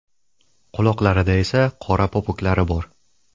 Quloqlarida esa qora popuklari bor.